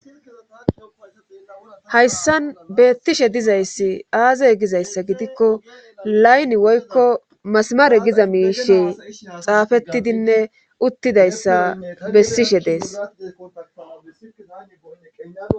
hayssan beettishe dizayssi aazey gizayssa gidikko layni woykko masmaare giza miishe xaafettidinne uttidayssa bessishe dees